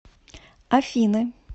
афины